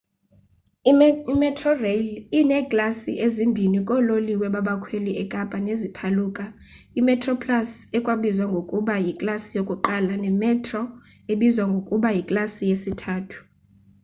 imetrorail ineeklasi ezimbini koololiwe babakhweli ekapa neziphaluka: imetroplus ekwabizwa ngokuba yiklasi yokuqala nemetro ebizwa ngokuba yiklasi yesithathu